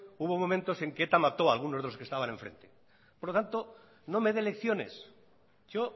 hubo momentos en que eta mató a algunos de los que estaban enfrente por lo tanto no me dé lecciones yo